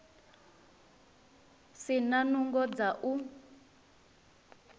si na nungo dza u